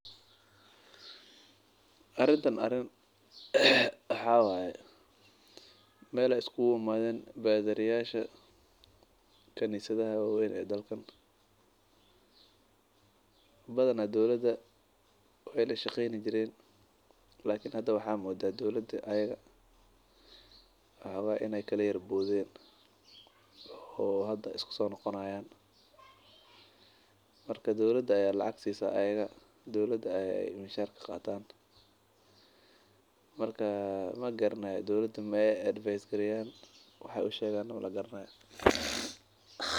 Arintan arin waxaa waye meel aay iskugu imaaden badari yasha khanisadha waweyn ee dalka badanaa waay iska shaqeen jireen lakin hada waay kala Boden.